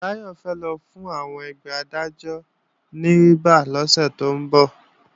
Báyọ̀ fẹ́ lọ fún àwọn ẹgbẹ́ Adájọ́ ní rìbá lọ́sẹ̀ tó ń bọ̀